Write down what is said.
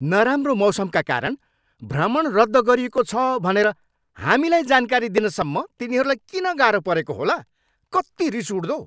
नराम्रो मौसमका कारण भ्रमण रद्द गरिएको छ भनेर हामीलाई जानकारी दिनसम्म तिनीहरूलाई किन गाह्रो परेको होला। कत्ति रिस उठ्दो।